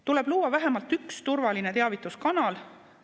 Tuleb luua vähemalt üks turvaline teavituskanal.